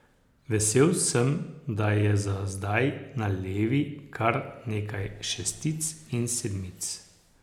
Vesel sem, da je za zdaj na levi kar nekaj šestic in sedmic.